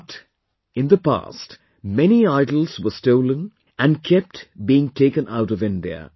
But, in the past, many idols were stolen and kept being taken out of India